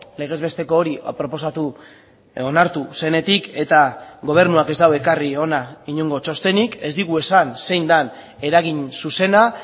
legez besteko hori proposatu onartu zenetik eta gobernuak ez du ekarri hona inongo txostenik ez digu esan zein den eragin zuzena